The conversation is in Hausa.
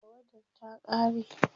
tawadar ta ƙare